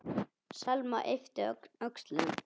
Selma yppti öxlum.